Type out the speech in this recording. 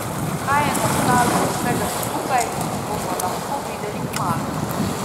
Kaj je nastalo iz vsega skupaj, bomo lahko videli kmalu.